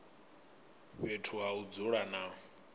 fhethu ha u dzula na